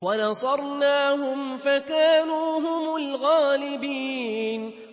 وَنَصَرْنَاهُمْ فَكَانُوا هُمُ الْغَالِبِينَ